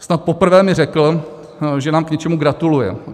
Snad poprvé mi řekl, že nám k něčemu gratuluje.